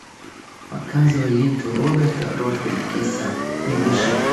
показывай ленту роберта родригеса не дыши